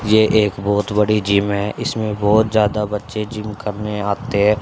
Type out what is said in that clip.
ये एक बहोत बड़ी जिम हैं इसमें बहोत ज्यादा बच्चे जिम करने आते--